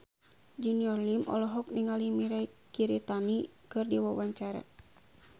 Junior Liem olohok ningali Mirei Kiritani keur diwawancara